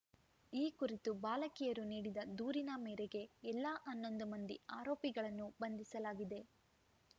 ಈ ಕುರಿತು ಬಾಲಕಿಯರು ನೀಡಿದ ದೂರಿನ ಮೇರೆಗೆ ಎಲ್ಲ ಹನ್ನೊಂದು ಮಂದಿ ಆರೋಪಿಗಳನ್ನು ಬಂಧಿಸಲಾಗಿದೆ